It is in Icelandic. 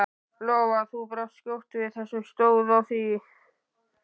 Lóa: Þú brást skjótt við, hvernig stóð á því?